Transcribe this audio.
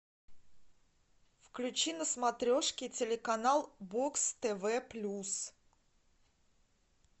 включи на смотрешке телеканал бокс тв плюс